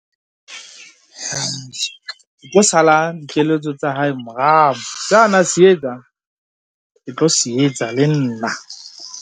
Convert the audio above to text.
Ke tlo sala dikeletso tsa hae morao, sa na se etsa, ke tlo se etsa le nna.